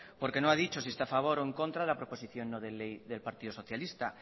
porque no ha dicho si está a favor o en contra de la proposición no de ley del partido socialista